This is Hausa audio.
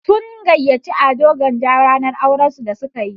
Sun gayyaci Ado Gwanja ranar auran su da suka yi.